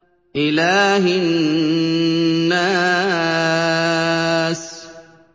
إِلَٰهِ النَّاسِ